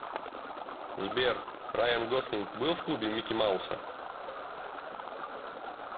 сбер райан гослинг был в клубе микки мауса